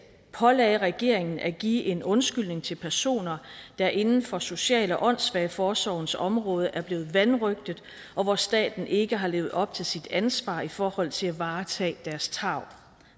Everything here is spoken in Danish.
pålagde regeringen at give en undskyldning til personer der inden for social og åndssvageforsorgens område er blevet vanrøgtet og hvor staten ikke har levet op til sit ansvar i forhold til at varetage deres tarv